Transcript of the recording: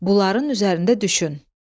Bunların üzərində düşün.